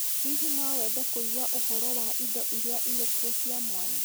Hihi no wende kũigua ũhoro wa indo iria irĩ kuo cia mwanya?